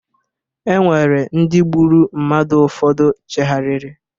E nwere ndị gburu mmadu ụfọdụ cheghariri